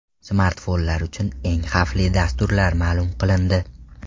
Smartfonlar uchun eng xavfli dasturlar ma’lum qilindi.